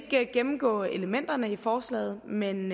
ikke gennemgå elementerne i forslaget men